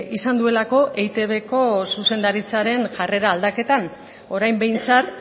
izan duelako eitbko zuzendaritzaren jarrera aldaketan orain behintzat